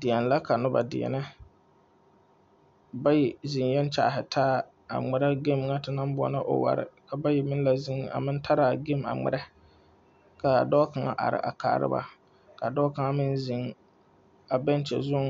Deɛne la ka noba deɛnɛ bayi zeŋɛɛ a kyaahi taa ŋmerɛ gaami ŋa te naŋ boɔlɔ oware ka bayi meŋ tare a gaami a ŋmerɛ ka dɔɔ kaŋa ahi a kaara ba ka dɔɔ kaŋa meŋ zeŋ bɛɛkye zuŋ